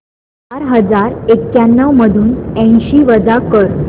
चार हजार एक्याण्णव मधून ऐंशी वजा कर